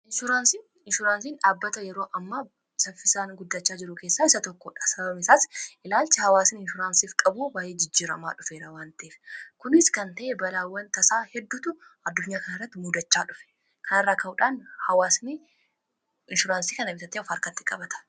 inshuraansiin dhaabbata yeroo amma saffisaan guddachaa jiru keessaa isa tokkodha sababni isaas ilaalchi hawaasiin inshuraansiif qabuu baay'ee jijjiramaa dhufeerawanta'eef kunis kan ta'e balaawwan tasaa heddutu addunyaa kanirratti muudachaa dhufe kanaarraa ka'uudhaan inshuraansii kana bitatee of arkatti qabata